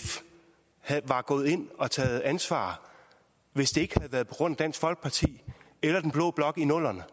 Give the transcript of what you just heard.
var gået ind og taget ansvar hvis det ikke havde været på grund af dansk folkeparti eller den blå blok i nullerne